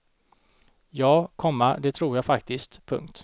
Ja, komma det tror jag faktiskt. punkt